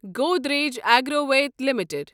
Godrej Agrovet limited